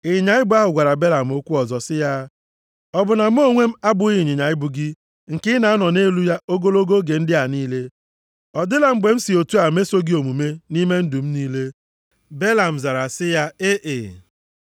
Ịnyịnya ibu ahụ gwara Balam okwu ọzọ sị ya, “Ọ bụ na mụ onwe m abụghị ịnyịnya ibu gị nke ị na-anọ nʼelu ya ogologo oge ndị a niile? Ọ dịla mgbe m si otu a meso gị omume nʼime ndụ m niile?” Belam zara sị ya, “Ee.”